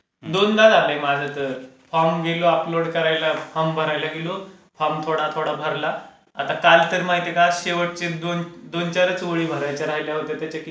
दोनदा झाले माझे तर. फॉर्म गेलो अपलोड करायला फॉर्म भरायला गेलो, फॉर्म थोडा थोडा भरला आता काल तर माहित आहे का शेवटचे दोन दोन-चार चोळी भरायचे राहिल्या होत्या